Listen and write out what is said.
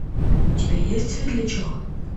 у тебя есть светлячок